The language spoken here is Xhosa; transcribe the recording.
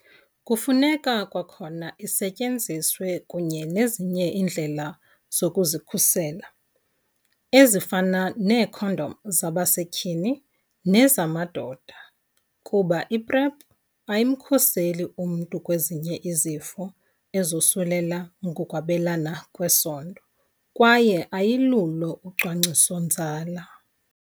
Kufuneka kwakhona isetyenziswe kunye nezinye iindlela zokuzikhusela, ezifana neekhondom zabasetyhini nezamadoda, kuba i-PrEP ayimkhuseli umntu kwezinye izifo ezosulela ngokwabelana ngesondo kwaye ayilulo ucwangciso-nzala.